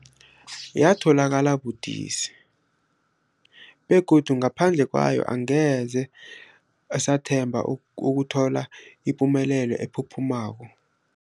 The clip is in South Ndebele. Yatholakala budisi, begodu ngaphandle kwayo angeze sathemba ukuthola ipumelelo ephuphumako.